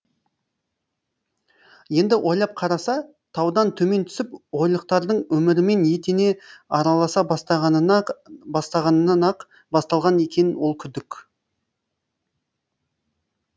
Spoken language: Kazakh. енді ойлап қараса таудан төмен түсіп ойлықтардың өмірімен етене араласа бастағанынан ақ басталған екен ол күдік